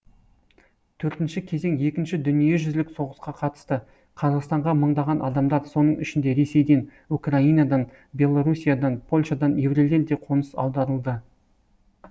төртінші кезең екінші дүниежүзілік соғысқа қатысты қазақстанға мыңдаған адамдар соның ішінде ресейден украинадан белоруссиядан польшадан еврейлер де қоныс аударылды